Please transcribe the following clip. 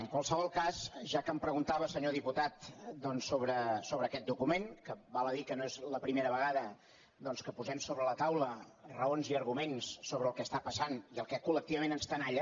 en qualsevol cas ja que em preguntava senyor diputat doncs sobre aquest document que val a dir que no és la primera vegada que posem sobre la taula raons i arguments sobre el que està passant i el que collectivament ens tenalla